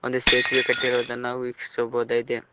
ಒಂದು ಸೇತುವೆ ಕಟ್ಟಿರುವುದನ್ನು ನಾವು ವೀಕ್ಷಿಸಬಹುದಾಗಿದೆ.